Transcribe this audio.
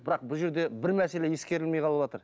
бірақ бұл жерде бір мәселе ескерілмей қалыватыр